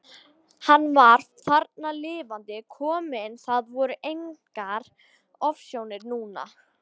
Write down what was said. Hann var þarna lifandi kominn, það voru engar ofsjónir núna!